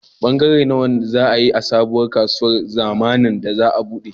Bangare nawa za a yi a sabuwar kasuwar zamnin da za a buɗe?